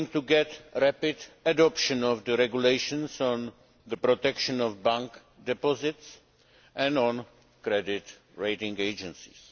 working to get rapid adoption of the regulations on the protection of bank deposits and on credit rating agencies.